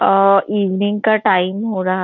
अ evening का time हो रहा--